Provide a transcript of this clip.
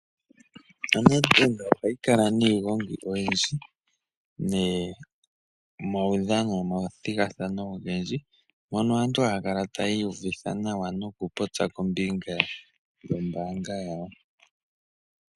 Onedbak ohayi kala niigongi oyindji, neemaudhathano nomathigathano ogendji. Mono aantu haya kala tayii uvitha nawa, nokupopya kombinga yombaanga yawo.